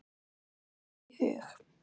Datt það ekki í hug.